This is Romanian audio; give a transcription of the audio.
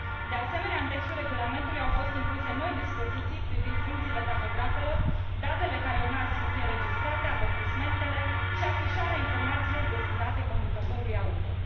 De asemenea, în textul regulamentului au fost incluse noi dispoziții privind funcțiile tahografelor, datele care urmează să fie înregistrate, avertismentele și afișarea informațiilor destinate conducătorului auto.